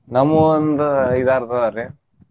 ನಮ್ಮು ಒಂದ್ ಐದ್ ಆರ್ ಅದಾವ್ರಿ.